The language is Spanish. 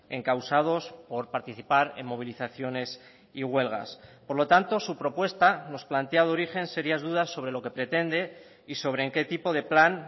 encausados por participar en movilizaciones y huelgas por lo tanto su propuesta nos plantea de origen serias dudas sobre lo que pretende y sobre en qué tipo de plan